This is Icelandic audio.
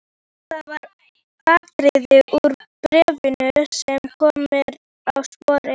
Það var atriði úr bréfinu sem kom mér á sporið.